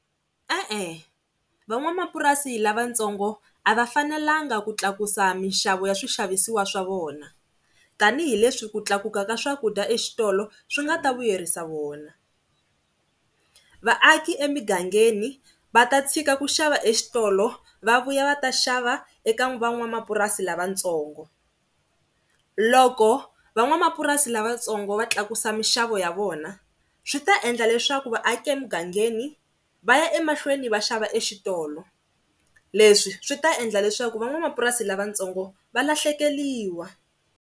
E-e, van'wamapurasini lavatsongo a va fanelanga ku tlakusa mixavo ya swixavisiwa swa vona, tanihileswi ku tlakuka ka swakudya exitolo swi nga ta vuyerisa vona. Vaaki emigangeni va ta tshika ku xava exitolo va vuya va ta xava eka van'wamapurasi lavatsongo. Loko van'wamapurasi lavatsongo va tlakusa mixavo ya vona swi ta endla leswaku vaaki emugangeni va ya emahlweni va xava exitolo leswi swi ta endla leswaku van'wamapurasi lavatsongo va lahlekeriwa.